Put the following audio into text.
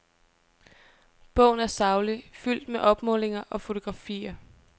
Bogen er saglig, fuldt med opmålinger og fotografier.